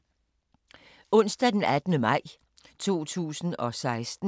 Onsdag d. 18. maj 2016